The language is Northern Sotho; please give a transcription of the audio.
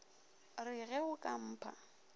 re ge o ka mpha